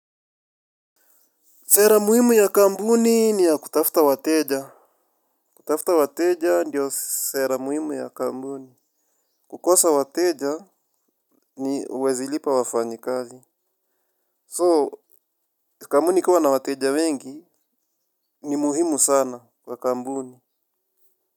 Sera muhimu ya kampuni ni ya kutafuta wateja. Kutafuta wateja ndio sera muhimu ya kampuni. Kukosa wateja ni huwezi lipa wafanyi kazi. So, kampuni ikiwa na wateja wengi ni muhimu sana kwa kampuni.